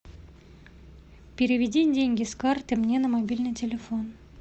переведи деньги с карты мне на мобильный телефон